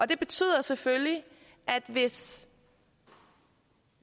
det betyder selvfølgelig at hvis